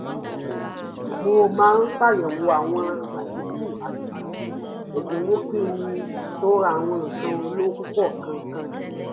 mo máa ṣàyẹ̀wò àwọn àdínkù àti ẹ̀dínwó kí n tó ra àwọn nǹkan olówó púpọ̀ kankan